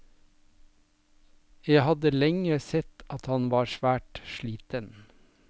Jeg hadde lenge sett at han var svært sliten.